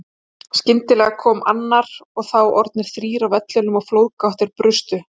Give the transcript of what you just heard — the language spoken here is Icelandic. Skyndilega kom annar og þá orðnir þrír á vellinum og flóðgáttir brustu.